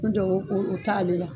N jɔ o t'ale la.